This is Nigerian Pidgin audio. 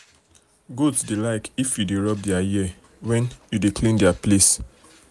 goat dey like if you dey you dey rub their ear wen you dey clean their place.